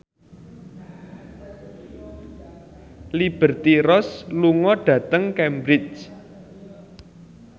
Liberty Ross lunga dhateng Cambridge